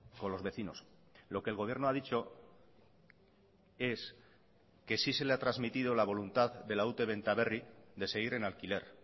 con los vecinos lo que el gobierno ha dicho es que sí se le ha trasmitido la voluntad de la ute benta berri de seguir en alquiler